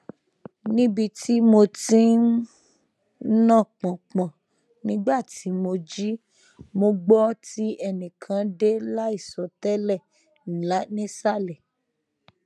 nibi ti mo ti n na pọnpọn nigba ti mo ji mo gbọ ti ẹnikan de laisọ tẹlẹ nisalẹ